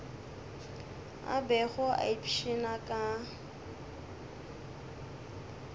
a bego a ipshina ka